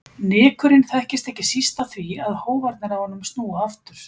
Nykurinn þekkist ekki síst af því að hófarnir á honum snúa aftur.